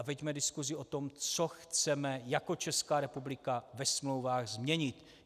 A veďme diskusi o tom, co chceme jako Česká republika ve smlouvách změnit.